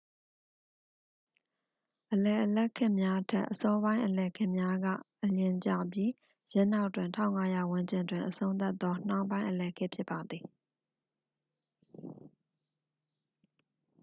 အလယ်အလတ်ခေတ်များထက် အစောပိုင်းအလယ်ခေတ်များက အလျင်ကျပြီး ယင်းနောက်တွင် 1500 ဝန်းကျင်တွင် အဆုံးသတ်သော နှောင်းပိုင်းအလယ်ခေတ် ဖြစ်ပါသည်